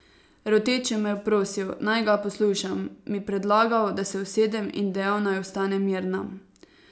Roteče me je prosil, naj ga poslušam, mi predlagal, da se usedem, in dejal, naj ostanem mirna.